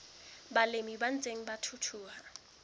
balemi ba ntseng ba thuthuha